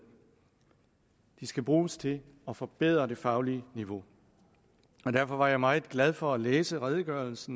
de skal bruges til at forbedre det faglige niveau og derfor var jeg meget glad for at læse redegørelse